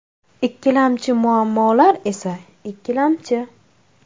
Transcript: Ikkilamchi muammolar esa ikkilamchi.